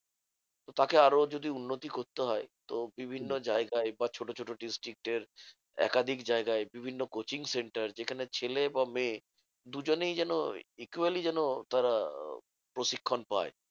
তাকে আরো যদি উন্নতি করতে হয় তো বিভিন্ন জায়গায় বা ছোট ছোট district এর একাধিক জায়গায় বিভিন্ন coaching centre যেখানে ছেলে বা মেয়ে দুজনেই যেন equally যেন তারা প্রশিক্ষণ পায়।